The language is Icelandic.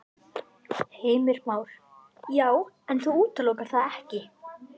Heimir Már: Já, en þú útilokar það ekki?